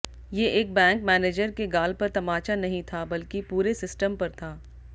ये एक bank manager के गाल पर तमाचा नहीं था बल्कि पूरे सिस्टम पर था